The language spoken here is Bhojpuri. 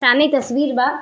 सामने एक तस्वीर बा।